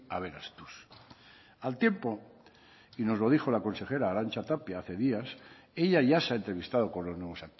aberastuz al tiempo y nos lo dijo la consejera arantxa tapia hace días ella ya se ha entrevistado con los nuevos